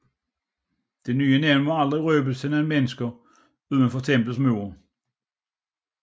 Det nye navn må aldrig røbes til noget menneske uden for templets mure